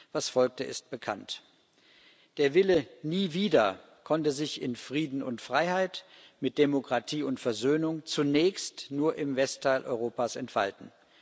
Was folgte, ist bekannt. Der Wille Nie wieder konnte sich in Frieden und Freiheit mit Demokratie und Versöhnung zunächst nur im Westteil Europas entfalten.